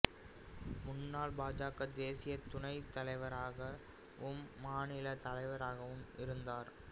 முன்னாள் பாஜக தேசிய துணைத் தலைவராகவும் மாநிலத் தலைவராகவும் இருந்தார்